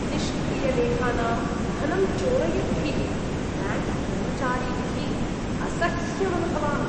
निष्क्रियलेखानां धनं चोरयद्भिः ब्याङ्क् कर्मचारिभिः असह्यमनुभवामि।